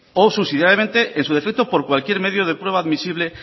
o subsidiariamente en su defecto por cualquier medio de prueba admisible